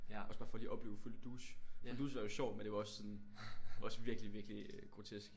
Også bare for lige at opleve Folie Douce. Folie Douce er jo sjovt men det var også sådan også virkelig virkelig grotesk